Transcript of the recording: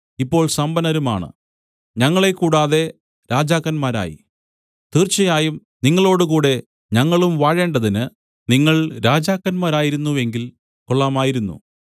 ഇപ്പോൾ സമ്പന്നരുമാണ് ഞങ്ങളെ കൂടാതെ രാജാക്കന്മാരായി തീർച്ചയായും നിങ്ങളോടുകൂടെ ഞങ്ങളും വാഴേണ്ടതിന് നിങ്ങൾ രാജാക്കന്മാരായിരുന്നു എങ്കിൽ കൊള്ളാമായിരുന്നു